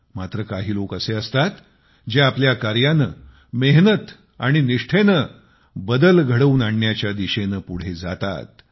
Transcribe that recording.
मात्र काही लोक असे असतात जे आपल्या कार्याने मेहनत आणि निष्ठेने बदल घडवून आणण्याच्या दिशेने पुढे जातात